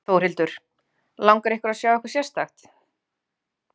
Þórhildur: Langar ykkur að sjá eitthvað sérstakt?